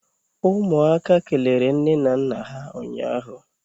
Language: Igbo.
umuaka kelere nne na nna ha ụnyahụ?